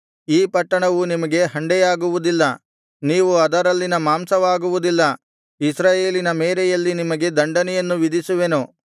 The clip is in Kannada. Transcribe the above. ಈ ಪಟ್ಟಣವು ನಿಮಗೆ ಹಂಡೆಯಾಗುವುದಿಲ್ಲ ನೀವು ಅದರಲ್ಲಿನ ಮಾಂಸವಾಗುವುದಿಲ್ಲ ಇಸ್ರಾಯೇಲಿನ ಮೇರೆಯಲ್ಲಿ ನಿಮಗೆ ದಂಡನೆಯನ್ನು ವಿಧಿಸುವೆನು